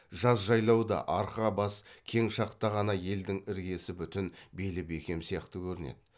жаз жайлауда арқа бас кең шақта ғана елдің іргесі бүтін белі бекем сияқты көрінеді